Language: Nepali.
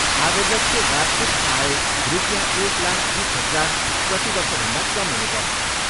आवेदकको वार्षिक आय रुपियाँ एक लाख बिस हजार प्रतिवर्षभन्दा कम हुनुपर्छ।